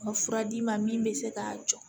Ka fura d'i ma min bɛ se k'a jɔ